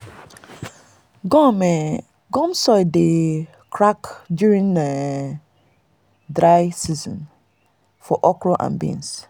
gum um gum um soil dey crack during dry um season for okra and beans.